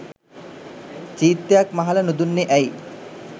චීත්තයක් මහලා නුදුන්නේ ඇයි?